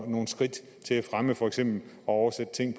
nogle skridt til at fremme for eksempel at oversætte ting